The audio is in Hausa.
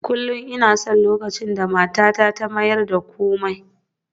Kullum ina son lokacin da matata ta mayar da komai